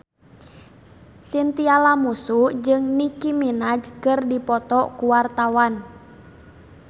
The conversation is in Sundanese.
Chintya Lamusu jeung Nicky Minaj keur dipoto ku wartawan